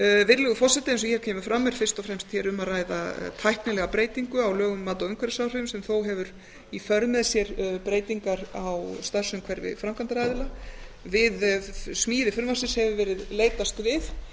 virðulegur forseti eins og hér kemur fram er hér fyrst og fremst um að ræða tæknilega breytingu á lögum um mat á umhverfisáhrifum sem þó hefur í för með sér breytingar á starfsumhverfi framkvæmdaraðila viðs mæli frumvarpsins hefur verið leitast við